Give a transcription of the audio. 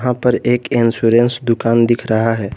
ऊपर एक इंश्योरेंस दुकान दिख रहा है।